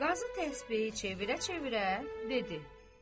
Qazı təsbehi çevirə-çevirə dedi: